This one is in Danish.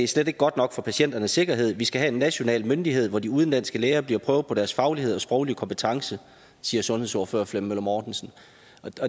slet ikke godt nok for patienternes sikkerhed vi skal have en national myndighed hvor de udenlandske læger bliver prøvet af på deres faglighed og sproglige kompetencer siger sundhedsordfører flemming møller mortensen